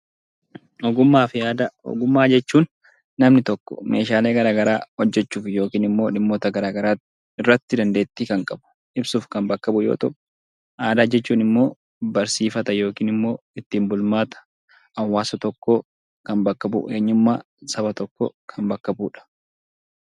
Ogummaa fi aadaa Ogummaa jechuun namni tokko meeshaalee gara garaa hojjechuuf yookiin immoo dhimmoota gara garaa irratti dandeettii kan qabu ibsuuf kan bakka bu'u yoo ta'u; Aadaa jechuun immoo barsiifata yookiin immoo ittiin bulmaata hawaasa tokkoo kan bakka bu'u, eenyummaa saba tokkoo bakka kan bu'u dha.